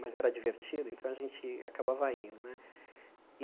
Mas era divertido, então a gente acabava indo né.